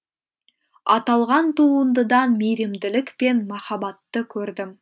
аталған туындыдан мейірімділік пен махаббатты көрдім